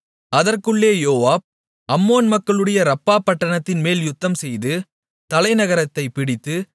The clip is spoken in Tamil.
அதற்குள்ளே யோவாப் அம்மோன் மக்களுடைய ரப்பா பட்டணத்தின்மேல் யுத்தம்செய்து தலைநகரத்தைப் பிடித்து